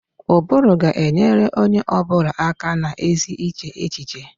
Ụbụrụ ga-enyere onye ọ bụla aka na ezi iche echiche